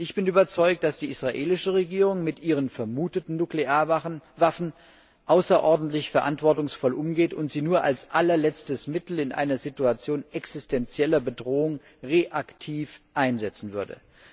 Ich bin davon überzeugt, dass die israelische Regierung mit ihren vermuteten Nuklearwaffen außerordentlich verantwortungsvoll umgeht und sie nur als allerletztes Mittel in einer Situation existenzieller Bedrohung reaktiv einsetzen würde.